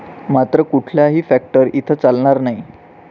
मात्र कुठलाही फॅक्टर इथं चालणार नाही.